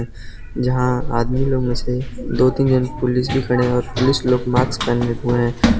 जहां आदमी लोग मे से दो तीन जन पुलिस भी खड़े हैं और पुलिस लोग माक्स पहने हुए हैं।